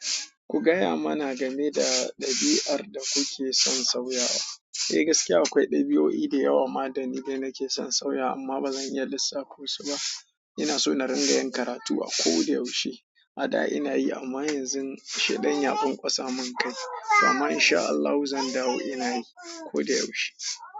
Ku gaya mana game da dabi'ar da kuke son sauyawa. Eh gaskiya akwai dabi'u yi da yawa ma da ni dai nake son sauya amma ba zan iya lissafta su ba. Ina so na ringa yin karatu a ko da yaushe. A da ina yi amma yanzu sheɗan ya bun kosa min kai. Amma insha Allahn zan dawo ina yi ko da yaushe.